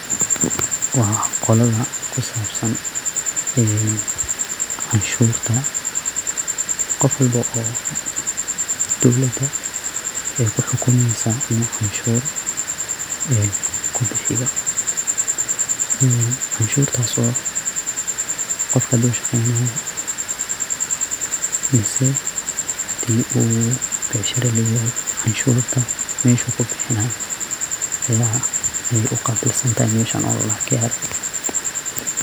Waa qolada kusabsan ee canshurta, qof walbo oo dowlada ay kuxukumeysa inu canshur en kubixiyo ee canshurtaas oo qofka haduu shaqeynayo mise hadii uu becshara leyahay canshurta meshu kubixinayo ayay uqabil santahay meshan oo ladhoho KRA.